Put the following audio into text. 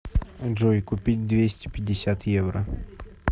джой купить двести пятьдесят евро